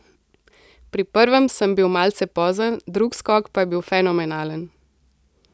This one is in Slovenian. Pri prvem sem bil malce pozen, drug skok pa je bil fenomenalen.